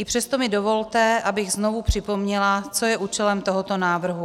I přesto mi dovolte, abych znovu připomněla, co je účelem tohoto návrhu.